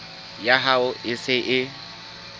ya hao e se e